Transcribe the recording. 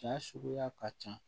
Cɛn suguya ka ca